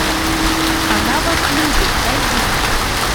она вас любит найди